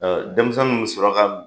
Denmisɛnninw bɛ sɔrɔ